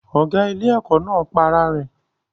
Ọ̀gá ilé-ẹ̀kọ́ náà pa ara rẹ̀